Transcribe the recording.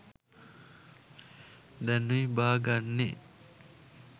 දැනුයි බාගන්නෙ